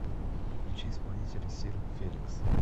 включи исполнителя сир феликс